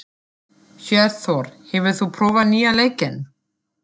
Hjörtþór, hefur þú prófað nýja leikinn?